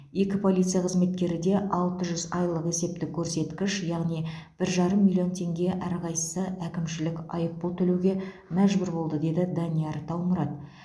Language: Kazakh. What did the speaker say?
екі полиция қызметкері де алты жүз айлық есептік көрсеткіш яғни бір жарым миллион теңге әрқайсысы әкімшілік айыпұл төлеуге мәжбүр болды деді данияр таумұрат